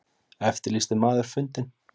Eftirlýstur maður fundinn